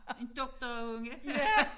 En doktorunge